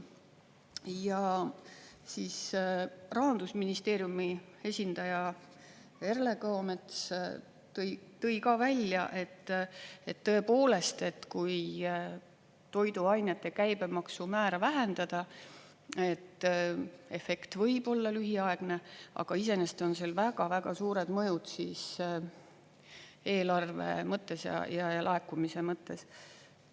Ja siis Rahandusministeeriumi esindaja Erle Kõomets tõi ka välja, et tõepoolest, et kui toiduainete käibemaksu määra vähendada, siis efekt võib olla lühiaegne, aga iseenesest on väga-väga suured mõjud eelarve mõttes ja laekumise mõttes.